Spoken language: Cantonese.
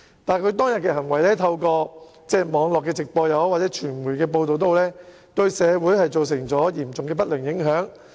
但是，他當天的行為透過網絡直播和傳媒報道，對社會造成嚴重的不良影響。